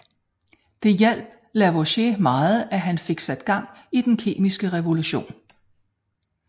Det hjalp Lavoisier meget og han fik sat gang i den kemiske revolution